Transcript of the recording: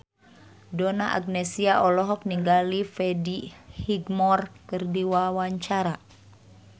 Donna Agnesia olohok ningali Freddie Highmore keur diwawancara